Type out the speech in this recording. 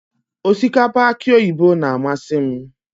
osikapa aki oyibo na-amasị m.